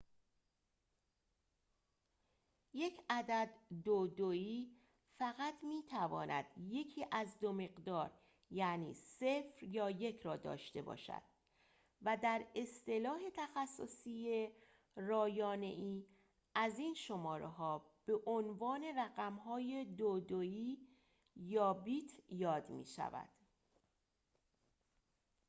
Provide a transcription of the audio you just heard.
یک عدد دودویی فقط می‌تواند یکی از دو مقدار یعنی ۰ یا ۱ را داشته باشد و در اصطلاح تخصصی رایانه‌ای از این شماره‌ها به عنوان رقم‌های دودویی یا بیت یاد می‌شود